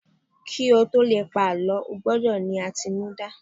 ki o to Le pa àlọ, o gbọdọ ni atinuda